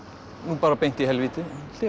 bara beint í helvíti